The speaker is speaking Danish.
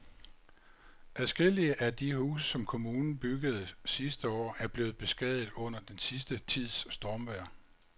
Adskillige af de huse, som kommunen byggede sidste år, er blevet beskadiget under den sidste tids stormvejr.